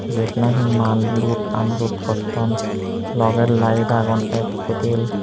jiyot nahi maal lud un lud gotton logey laed agon ek kutil.